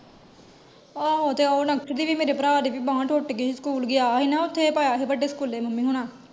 ਆਹੋ ਉਹ ਹੁਣ ਤੇ ਉਹ ਨਕਸ਼ ਦੀ ਵੀ ਮੇਰੇ ਪਰਾ ਦੀ ਵੀ ਬਾਂਹ ਟੁੱਟ ਗਯੀ, ਸਕੂਲ ਗਿਆ ਸੀ ਨਾ ਓਥੇ ਪਾਇਆ ਸੀ, ਵੱਡੇ ਸਕੂਲੇ ਮੰਮੀ ਹੋਣਾ।